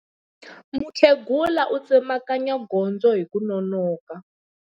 Mukhegula u tsemakanya gondzo hi ku nonoka.